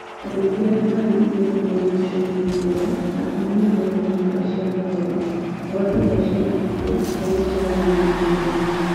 Andũ aingĩ arĩa maarĩ igweta bũrũri-inĩ ũcio nĩ maakuire na kũhinyĩrĩrio kwa nyũmba cia mohoro, ngwatanĩro cia andũ kĩũmbe na irĩa cireganaga na mohoro macio.